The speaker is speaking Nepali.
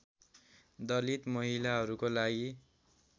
दलित महिलाहरूको लागि